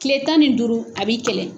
Kile tan nin duuru a b'i kɛlɛ.